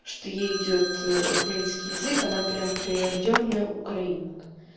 что ей идёт украинский язык она прямо прирождённая украинка